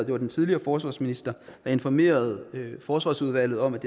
var den tidligere forsvarsminister der informerede forsvarsudvalget om at